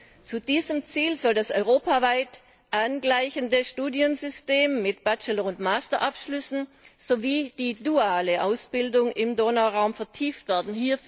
Mit diesem Ziel sollen die europaweite Angleichung des Studiensystems mit Bachelor und Master Abschlüssen sowie die duale Ausbildung im Donauraum vertieft werden.